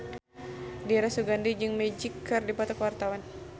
Dira Sugandi jeung Magic keur dipoto ku wartawan